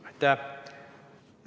Aitäh!